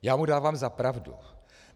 Já mu dávám za pravdu.